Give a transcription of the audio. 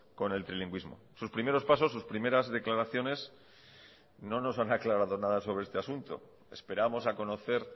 con el trilingüismo sus primeros pasos sus primeras declaraciones no nos han aclarado nada sobre este asunto esperamos a conocer